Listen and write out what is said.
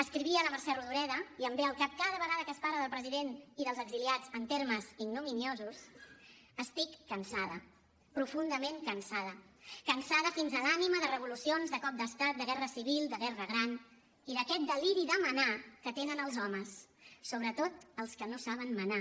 escrivia la mercè rodoreda i em ve al cap cada vegada que es parla del president i dels exiliats en termes ignominiosos estic cansada profundament cansada cansada fins a l’ànima de revolucions de cops d’estat de guerra civil de guerra gran i d’aquest deliri de manar que tenen els homes sobretot els que no saben manar